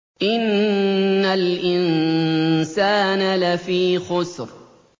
إِنَّ الْإِنسَانَ لَفِي خُسْرٍ